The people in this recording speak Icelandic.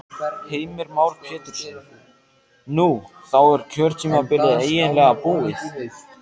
Heimir Már Pétursson: Nú, þá er kjörtímabilið eiginlega búið?